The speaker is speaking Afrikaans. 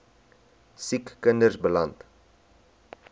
siek kinders beland